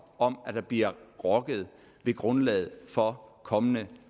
om at der bliver rokket ved grundlaget for kommende